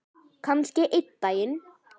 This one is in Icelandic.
Kannski einn daginn.